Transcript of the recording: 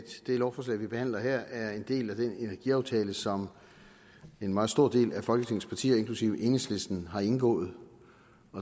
det lovforslag vi behandler her er en del af den energiaftale som en meget stor del af folketingets partier inklusive enhedslisten har indgået